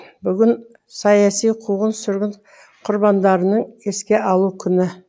бүгін саяси қуғын сүргін құрбандарының еске алу күні